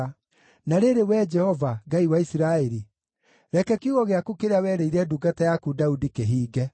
Na rĩrĩ, Wee Jehova, Ngai wa Isiraeli, reke kiugo gĩaku kĩrĩa werĩire ndungata yaku Daudi kĩhinge.